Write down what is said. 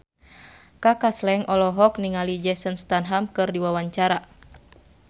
Kaka Slank olohok ningali Jason Statham keur diwawancara